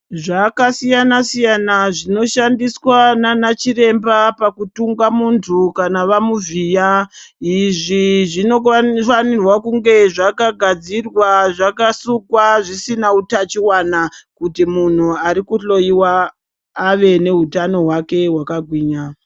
Zvaka siyana siyana zvino shandiswa nana chiremba paku tungwa muntu kana vamu vhiya izvi zvino fanirwa kunge zvaka gadzirwa zvaka sukwa zvisina utachiwana kuti munhu ariku hloyiwa ave ne hutano hwake hwaka gwinya.